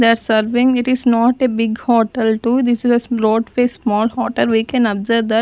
the serving it is not a big hotel to this is the brought a small hotel we can observe that.